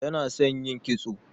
Yana son yin kitso.